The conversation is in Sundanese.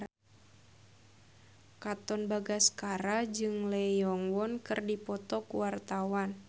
Katon Bagaskara jeung Lee Yo Won keur dipoto ku wartawan